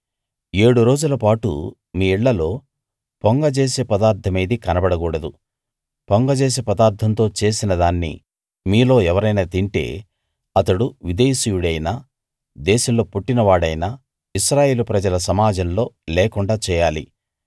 ఏడు రోజులపాటు మీ ఇళ్ళలో పొంగజేసే పదార్ధమేదీ కనబడ కూడదు పొంగజేసే పదార్ధంతో చేసిన దాన్ని మీలో ఎవరైనా తింటే అతడు విదేశీయుడైనా దేశంలో పుట్టిన వాడైనా ఇశ్రాయేలు ప్రజల సమాజంలో లేకుండా చేయాలి